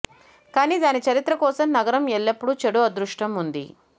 కానీ దాని చరిత్ర కోసం నగరం ఎల్లప్పుడూ చెడు అదృష్టం ఉంది